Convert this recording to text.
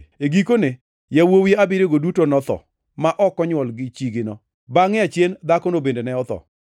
e gikone, yawuowi abiriyogo duto notho ma ok onywol gi chigino. Bangʼe achien dhakono bende ne otho.